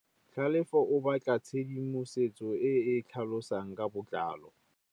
Tlhalefô o batla tshedimosetsô e e tlhalosang ka botlalô.